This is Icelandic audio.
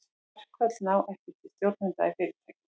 Verkföll ná ekki til stjórnenda í fyrirtækjum.